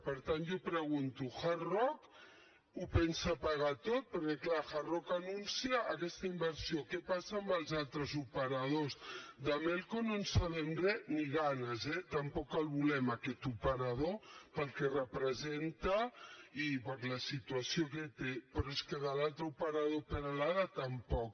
per tant jo pregunto hard rock ho pensa pagar tot perquè clar hard rock anuncia aquesta inversió què passa amb els altres operadors de melco no en sabem res ni ganes eh tampoc el volem aquest operador pel que representa i per la situació que té però és que de l’altre operador peralada tampoc